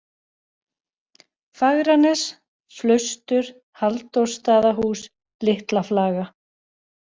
Fagranes, Flaustur, Halldórsstaðahús, Litlaflaga